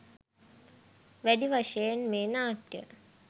වැඩි වශයෙන් මේ නාට්‍ය